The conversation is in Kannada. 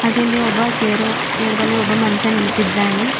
ಹಾಗೆ ಇಲ್ಲಿ ಒಬ್ಬ ಚೇರು ಚೇರ್ ಬಲ್ಲಿ ಒಬ್ಬ ಮನುಷ್ಯ ನಿಂತಿದ್ದಾನೆ.